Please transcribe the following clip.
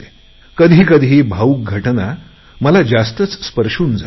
कधी कधी भावूक घटना मला जास्तच स्पर्शून जातात